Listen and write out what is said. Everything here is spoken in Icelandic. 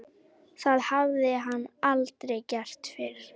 Það hafði hann aldrei gert fyrr.